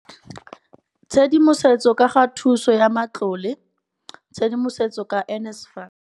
Tshedimosetso ka ga thuso ya matlole tshedimosetso ka NSFAS.